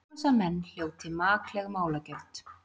Árásarmenn hljóti makleg málagjöld